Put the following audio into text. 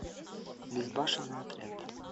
безбашенный отряд